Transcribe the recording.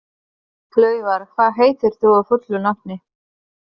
Laufar, hvað heitir þú fullu nafni?